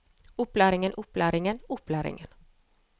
opplæringen opplæringen opplæringen